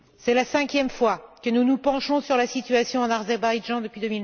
C'est la cinquième fois que nous nous penchons sur la situation en Azerbaïdjan depuis